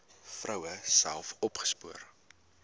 vroue self opgespoor